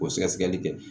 O sɛgɛsɛgɛli kɛ